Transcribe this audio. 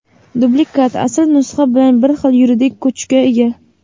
Dublikat asl nusxa bilan bir xil yuridik kuchga ega.